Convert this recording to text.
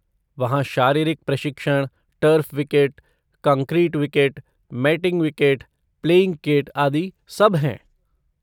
वहाँ शारीरिक प्रशिक्षण, turf wicket, concrete wicket, matting wicket, playing kit आदि सब हैं।